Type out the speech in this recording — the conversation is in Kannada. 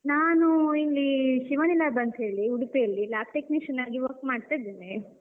ನಾನೂ ಇಲ್ಲೀ ಶಿವಾನಿ lab ಅಂತ್ ಹೇಳಿ ಉಡ್ಪಿಯಲ್ಲಿ Lab Technician ಆಗಿ work ಮಾಡ್ತಾ ಇದ್ದೇನೆ.